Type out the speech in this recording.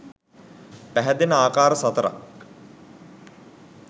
පැහැදෙන ආකාර සතරක්